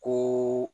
Ko